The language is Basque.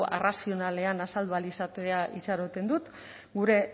arrazionalean azaldu ahal izatea itxaroten dut gure